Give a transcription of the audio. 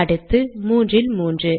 அடுத்து 3 இல் 3